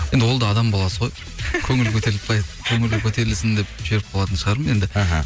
енді ол да адам баласы ғой көңілі көтерілсін деп жіберіп қалатын шығармын енді іхі